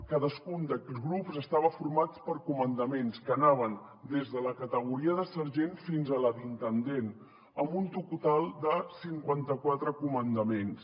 cadascun d’aquests grups estava format per comandaments que anaven des de la categoria de sergent fins a la d’intendent amb un total de cinquanta quatre comandaments